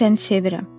Mən səni sevirəm.